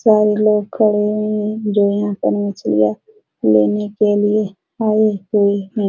चार लोग खड़े हुए हैं जो यहाँ पर मछलियां लेने के लिए आये हुए हैं |